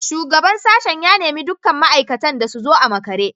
Shugaban sashen ya nemi dukkan ma’aikatan da su zo a makare